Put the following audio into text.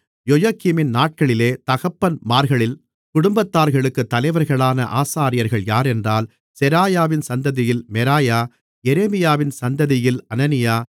யொயகீமின் நாட்களிலே தகப்பன்மார்களின் குடும்பத்தார்களுக்கு தலைவர்களான ஆசாரியர்கள் யாரென்றால் செராயாவின் சந்ததியில் மெராயா எரேமியாவின் சந்ததியில் அனனியா